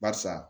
Barisa